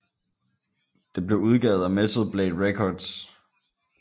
Det blev udgivet af Metal Blade Records